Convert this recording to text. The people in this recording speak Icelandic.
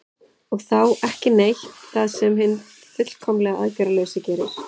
og þá „ekki neitt“ það sem hinn fullkomlega aðgerðalausi gerir